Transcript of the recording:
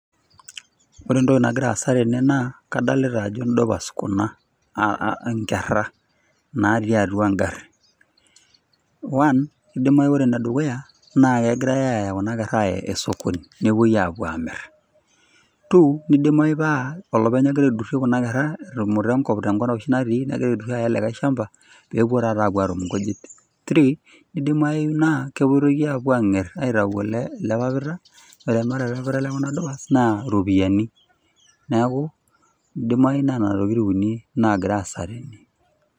Ore entoki nagira aasa tene naa kadolita ajo indupas kuna aa nkera natii atua engari .One , indimayu ore ene dukuya ,naa kegirae aya kuna kera aya osokoni nipuoi apuo amir. two nidimayu paa olopeny ogira aidurie kuna kera etumuta enkop tenkop oshi natii etumuta likae shamba pepuo taata atum inkujit. three Idimayu naa kepuoitoi apuo anger aitayu ele papita. Ore ele papita lekuna dupas naa iropiyiani ,neeku naa nena tokitin uni nagira aasa tene.